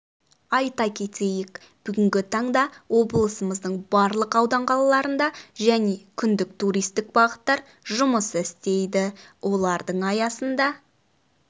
айта кетейік бүгінгі таңда облысымыздың барлық аудан қалаларында және күндік туристік бағыттар жұмыс істейді олардың аясында